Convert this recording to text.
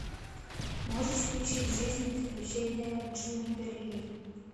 можешь включить жизнь и приключения джунипер ли